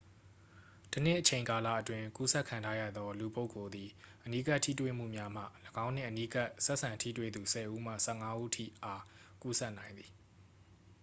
တစ်နှစ်အချိန်ကာလအတွင်း ကူးစက်ခံထားရသော လူပုဂ္ဂိုလ်သည် အနီးကပ်ထိတွေ့မှုများမှ ၎င်းနှင့်အနီးကပ်ဆက်ဆံထိတွေ့သူ 10 ဦးမှ 15 ဦးထိအား ကူးစက်နိုင်သည်